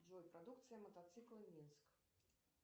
джой продукция мотоцикла минск